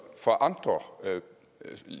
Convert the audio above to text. fra andre